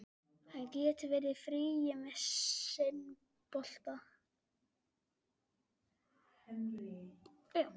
Hann getur verið í friði með sinn bolta.